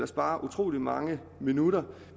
sparer utrolig mange minutter